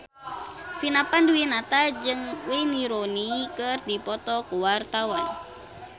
Vina Panduwinata jeung Wayne Rooney keur dipoto ku wartawan